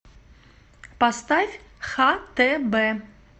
поставь хтб